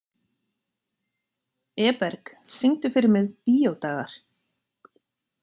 Eberg, syngdu fyrir mig „Bíódagar“.